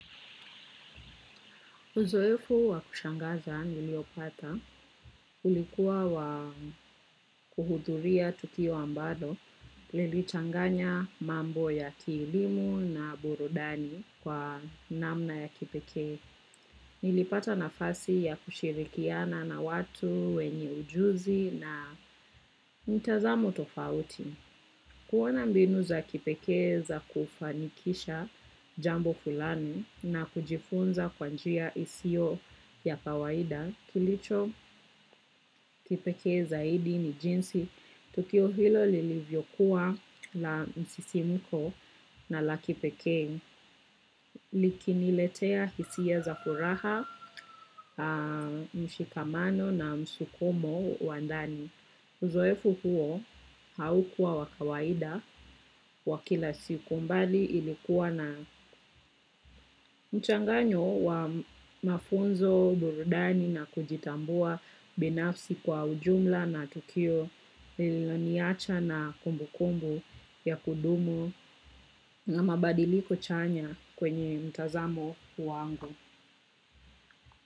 Uzoefu wakushangaza niliopata ulikuwa wakuhudhuria tukio ambalo lilichanganya mambo ya kielimu na burudani kwa namna ya kipekee. Nilipata nafasi ya kushirikiana na watu wenye ujuzi na mtazamo tofauti. Kuona mbinu za kipekee za kufanikisha jambo fulani na kujifunza kwa njia isiyo ya kawaida, kilicho kipekee zaidi ni jinsi, tukio hilo li li vyokuwa la msisimuko na la kipekee, likini letea hisia za furaha, mshikamano na msukumo wa ndani. Uzoefu huo haukuwa wakawaida wakila siku mbali ilikuwa na mchanganyo wa mafunzo burudani na kujitambua binafsi kwa ujumla na tukio lililonicha na kumbu kumbu ya kudumu na mabadiliko chanya kwenye mtazamo wangu.